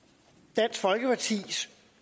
dansk folkepartis